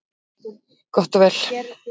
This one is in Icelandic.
Gott og vel,